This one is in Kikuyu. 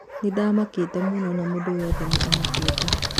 Nĩndamakĩĩte mũno na mũndũ wothe nĩ amakĩĩte.